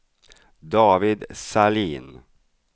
David Sahlin